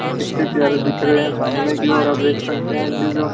ये कितने प्यारे दिख रहे हैं सामने की ओर आप देख सकते हैं कि जो--